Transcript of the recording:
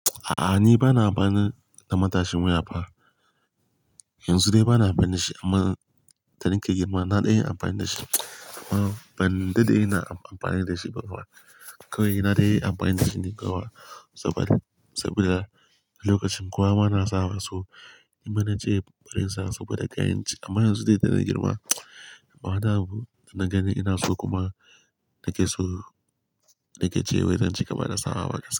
A'a, ni ba na amfani da matashin waya ba. Yanzu dai ba na amfani da shi amma da nake girma na dai amfani da shi. Amma ban da dai na amfani da shi ba kuwa. Kawai na dai yi amfani da shi ne kuwa? Saboda, saboda lokacin kuwa ma na sawa so. Kuma na je farin sawa so da kayan ci amma yanzu dai da na girma, ba na ganin ina so kuma na ke so, na ke cewa zan ci gaba da sawa haka.